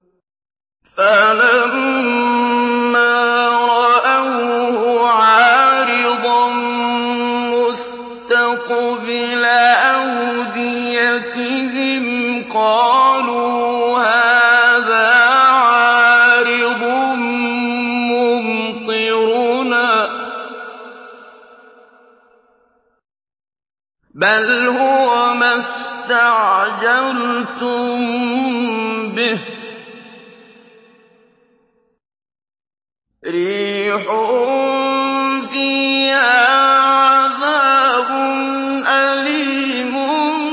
فَلَمَّا رَأَوْهُ عَارِضًا مُّسْتَقْبِلَ أَوْدِيَتِهِمْ قَالُوا هَٰذَا عَارِضٌ مُّمْطِرُنَا ۚ بَلْ هُوَ مَا اسْتَعْجَلْتُم بِهِ ۖ رِيحٌ فِيهَا عَذَابٌ أَلِيمٌ